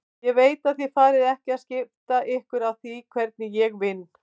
Ég veit að þið farið ekki að skipta ykkur af því hvernig ég vinn.